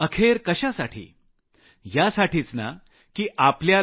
अखेर कशासाठी यासाठीच नं की आपल्याला